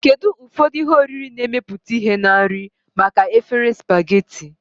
Kedu ụfọdụ ihe oriri na-emepụta ihe na nri maka efere spaghetti?